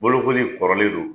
Bolokoli kɔrɔlen don.